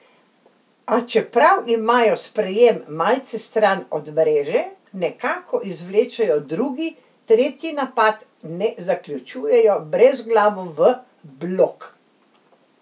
A čeprav imajo sprejem malce stran od mreže, nekako izvlečejo drugi, tretji napad, ne zaključujejo brezglavo v blok.